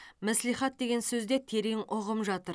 мәслихат деген сөзде терең ұғым жатыр